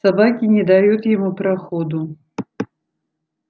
собаки не дают ему проходу